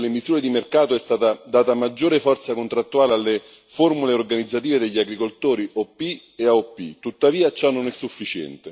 Relativamente al grande capitolo delle misure di mercato è stata data maggiore forza contrattuale alle formule organizzative degli agricoltori OP e AOP.